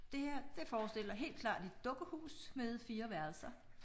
Det her det forestiller helt klart et dukkehus med 4 værelser